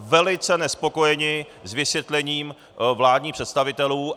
Velice nespokojeni s vysvětlením vládních představitelů.